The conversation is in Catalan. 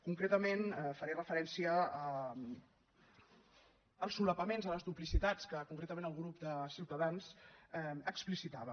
concretament faré referència als solapaments a les duplicitats que concretament el grup de ciutadans explicitava